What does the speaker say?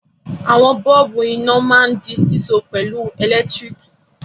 Àwọn bọ́ọ́bú iná máa ń di síso pẹ̀lú ẹ̀lẹ́tíríkì.